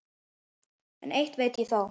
En eitt veit ég þó.